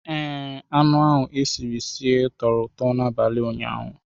Ee, anụ e siri sie tọrọ ụtọ n'abalị ụnyaahụ.